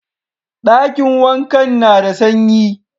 Dakin wankan na da sanyi.